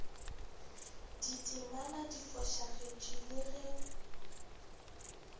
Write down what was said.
ditemana di fošagetše le ge